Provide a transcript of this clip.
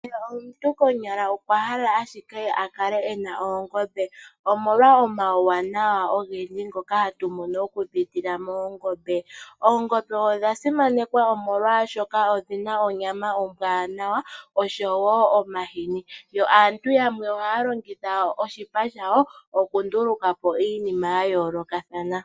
Kehe omuntu konyala okwahala ashike akale ena oongombe omolwa omauwanawa ogendji ngoka hatu mono okupitila moongombe. Oongombe odha simanekwa molwaashoka odhina onyama ombwaanawa nomahini, yo aantu yamwe ohaya longitha oshipa shayo okundulukapo iinima yayoolokathana.